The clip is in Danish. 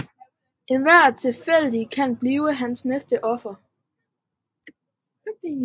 Enhver tilfældig kan blive hans næste offer